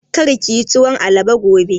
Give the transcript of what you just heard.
Kar kiyi tuwon alabo gobe!